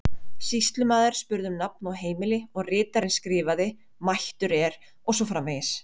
Sýslumaður spurði um nafn og heimili og ritarinn skrifaði: mættur er og svo framvegis.